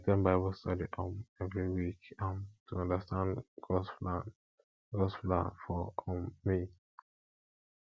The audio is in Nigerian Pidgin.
i at ten d bible study um every week um to understand gods plan gods plan for um me